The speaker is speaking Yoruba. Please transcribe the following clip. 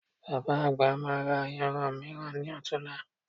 Bàbá àgbà máa ra ayanran mìíràn ní ọ̀tunla